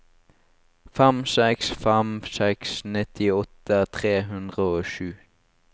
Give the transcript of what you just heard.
fem seks fem seks nittiåtte tre hundre og sju